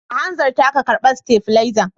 Ka hanzarta ka karba stafilezan.